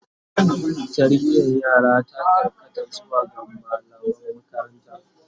Tarbiyan yara ta karkata zuwa ga mallaman makaranta